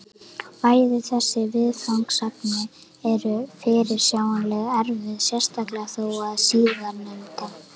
Bæði þessi viðfangsefni eru fyrirsjáanlega erfið, sérstaklega þó það síðarnefnda.